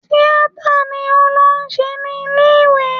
Tíátà ni ó lọ ṣe ní ilé ìwé